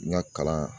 N ka kalan